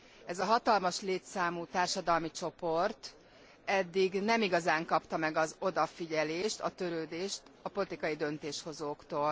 Ez a hatalmas létszámú társadalmi csoport eddig nem igazán kapta meg az odafigyelést, a törődést a politikai döntéshozóktól.